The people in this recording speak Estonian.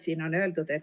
Siin on öeldud, et ...